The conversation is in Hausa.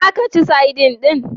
Za ka ci sadin din?